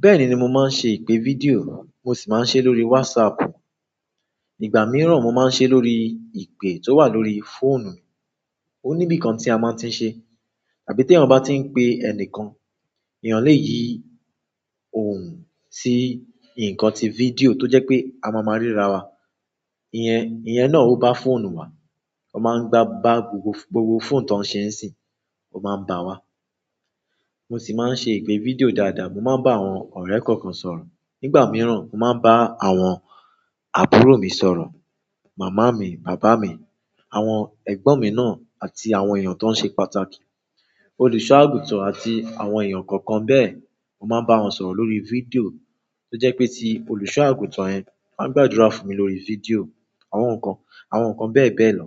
Bẹ́ẹ̀ni, mo máa ń ṣe ìpè fídíò, mo sì máa ń ṣe lórí WhatsApp. Nígbà mìíràn, mo máa ń ṣe lórí ìpè tó wà lórí fóònù mi. Ó ní bí i kan tí a máa ń tí ń ṣe. Àbí tí ẹ̀yàn bá tí ń pe ẹnìkan, èèyàn lè yi òhun sí ǹkan tí fídíò tó jẹ́ pé a máa máa ríra wa. Iyẹn, iyẹn náà ó bá fóònù wa. Ó máa ń bá gbogbo fóònù tó ń ṣe ń sìn, ó máa ń bá wa. Mo sì máa ń ṣe ìpè fídíò dáadáa. Mo máa ń bá àwọn ọ̀rẹ́ kọ̀ọ̀kan sọ̀rọ̀. Nígbà mìíràn, mo máa ń bá àwọn àbúrò mi sọ̀rọ̀, màmá mi, bàbá mi, àwọn ẹ̀gbọ́n mi náà àti àwọn èèyàn tó ń ṣe pàtàkì, olùṣọ́-àgùntàn àti àwọn èèyàn kọ̀ọ̀kan bẹ́ẹ̀. Mo máa ń bá wọn sọ̀rọ̀ lórí fídíò tó jẹ́ pé tí olùṣọ́-àgùntàn yẹn bá ń gbàdúrà fún mi lórí fídíò, àwọn nǹkan, àwọn nǹkan bẹ́ẹ̀ bẹ́ẹ̀ lọ.